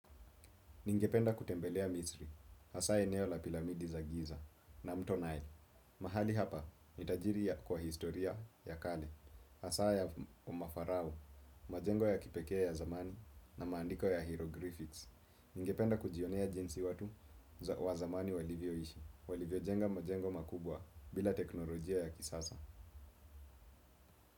Ningependa kutembelea misri, hasa eneo la piramidi za giza na mto nai. Mahali hapa ni tajiri ya kwa historia ya kale, hasa ya umafarao, majengo ya kipekee ya zamani na maandiko ya hyroglypics. Ningependa kujionea jinsi watu wa zamani walivyoishi, walivyojenga majengo makubwa bila teknolojia ya kisasa.